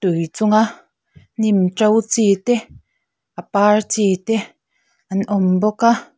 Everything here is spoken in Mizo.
tui chunga hnim to chite a par chite an awm bawk a.